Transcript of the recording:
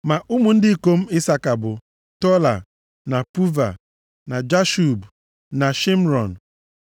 Ma ụmụ ndị ikom Isaka bụ, Tola, na Puva, na Jashub, na Shịmrọn.